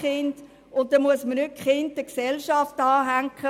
Man soll die Kinder nicht der Gesellschaft anhängen.